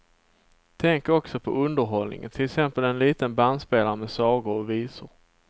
Tänk också på underhållningen, till exempel en liten bandspelare med sagor och visor.